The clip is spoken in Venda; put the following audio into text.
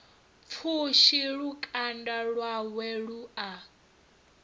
pfushi lukanda lwawe lu a